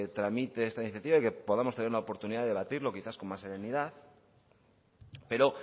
tramite esta iniciativa y de que podamos tener una oportunidad de debatirlo quizás con más serenidad pero